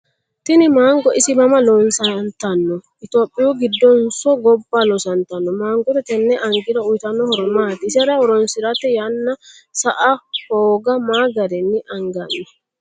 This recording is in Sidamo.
Tini mango isi mama loosantanno? Itiyophiyu giddonso gobbaa loosantanno? Mangote tenne anigiro uyiitanno horo maati? Isera horonsirate yanna sa"ana hooga ma gari anganni?